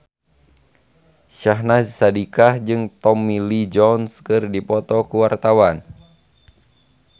Syahnaz Sadiqah jeung Tommy Lee Jones keur dipoto ku wartawan